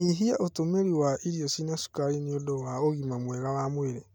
Nyihia ũtũmĩri wa irio cĩĩna cukari nĩ ũndũ wa ũgima mwega.wa mwĩrĩ